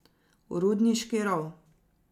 V rudniški rov.